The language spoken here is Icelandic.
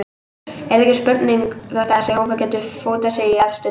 Það er ekki spurning að þessi hópur getur fótað sig í efstu deild.